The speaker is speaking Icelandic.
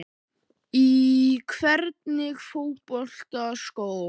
Í hvernig fótboltaskóm?